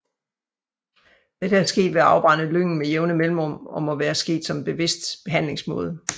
Dette er sket ved at afbrænde lyngen med jævne mellemrum og må være sket som en bevidst behandlingsmåde